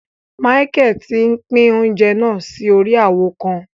Michael tí n'pin oúnjẹ náà si órí awo kàn